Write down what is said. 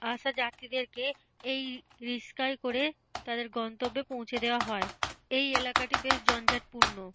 আসা যাত্রীদেরকে এই রিক্সায় করে তাদের গন্তব্যে পৌঁছে দেওয়া হয়। এই এলাকাটি বেশ জঞ্জাট পূর্ণ।